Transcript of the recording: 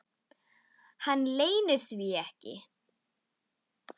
Hann leynir því ekki.